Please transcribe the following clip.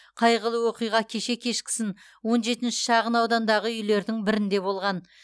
қайғылы оқиға кеше кешкісін он жетінші шағынаудандағы үйлердің бірінде болған